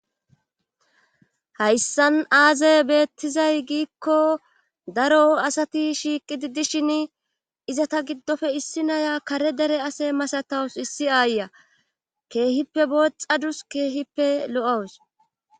hayssan aazee beettizay giikko daro asati shiiqidi dishin izetta giddoppe issi naya kare dere ase masatawus issi aayiya keehippe booxadus keehippe lo'awus